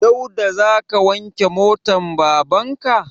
Dauda za ka wanke motan baban ka?